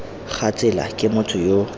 ga tsela ke motho yo